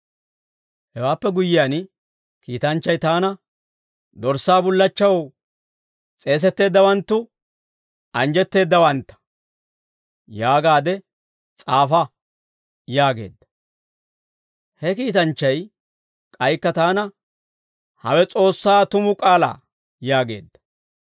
Hewaappe guyyiyaan, kiitanchchay taana, « ‹Dorssaa bullachchaw s'eesetteeddawanttu anjjetteeddawantta› yaagaade s'aafa» yaageedda. He kiitanchchay k'aykka taana, «Hawe S'oossaa tumu k'aalaa» yaageedda.